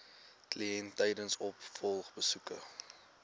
kliënt tydens opvolgbesoeke